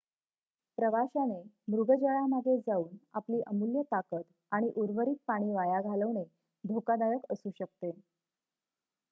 प्रवाशाने मृगजळामागे जाऊन आपली अमूल्य ताकद आणि उर्वरित पाणी वाया घालवणे धोकादायक असू शकते